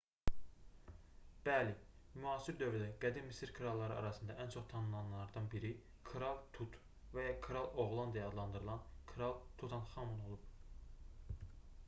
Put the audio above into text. bəli müasir dövrdə qədim misir kralları arasında ən çox tanınanlardan biri kral tut və ya kral oğlan deyə adlandırılan kral tutanxamun olub